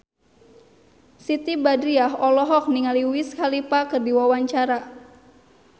Siti Badriah olohok ningali Wiz Khalifa keur diwawancara